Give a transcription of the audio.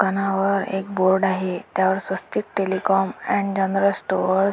दुकानावर एक बोर्ड आहे त्यावर Swastik telecom and general store --